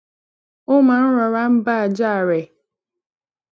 ó maa ń rora n ba aja re